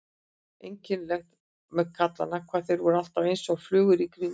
Einkennilegt með kallana hvað þeir voru alltaf einsog flugur í kringum hana.